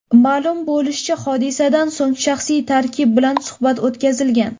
Ma’lum bo‘lishicha, hodisadan so‘ng shaxsiy tarkib bilan suhbat o‘tkazilgan.